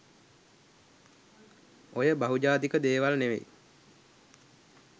ඔය බහුජාතික දේවල් නෙවෙයි